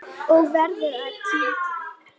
Hvað er þér á höndum?